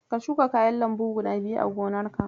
Ka shuka kayan lambu guda biyu a gonarka.